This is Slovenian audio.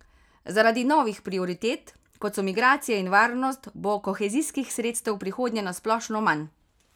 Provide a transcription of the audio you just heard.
Zaradi novih prioritet, kot so migracije in varnost, bo kohezijskih sredstev v prihodnje na splošno manj.